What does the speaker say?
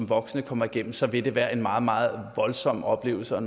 voksne kommer igennem så vil det være en meget meget voldsom oplevelse og